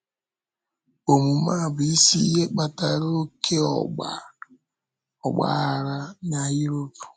Òmume a bụ isi ihe kpatara oké ọ́gba aghara na Europe.